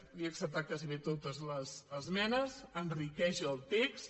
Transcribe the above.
li he acceptat gairebé totes les esmenes enriqueix el text